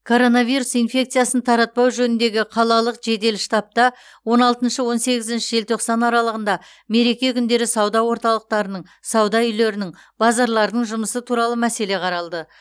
коронавирус инфекциясын таратпау жөніндегі қалалық жедел штабта он алтыншы он сегізінші желтоқсан аралығында мереке күндері сауда орталықтарының сауда үйлерінің базарлардың жұмысы туралы мәселе қаралды